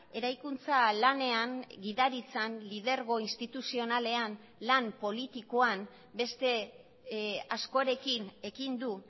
eraikuntza lanean gidaritzan lidergo instituzionalean lan politikoan beste askorekin ekin du